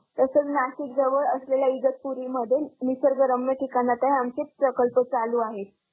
तसंच नाशिक जवळ असलेल्या इगतपुरी मध्ये निसर्गरम्य ठिकाणात आमचे प्रकल्प चालू आहे.